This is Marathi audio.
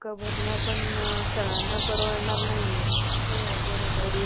त्या अर्थी, आम्ही जे क्षुद्र त्यांनी आपले ब्राम्हण लाथा बुक्क्या देऊन, प्राण जरी देऊ लागले तरी भुलचूक करू नये.